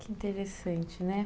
Que interessante, né?